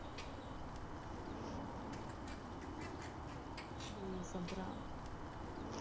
я её забрала